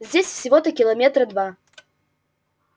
здесь всего-то километра два